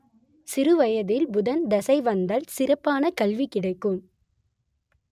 சிறுவயதில் புதன் திசை வந்தல் சிறப்பான கல்வி கிடைக்கும்